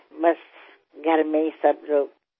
सगळी घरातलीच मंडळी असतील